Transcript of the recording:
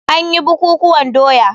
An yi bukukuwan doya.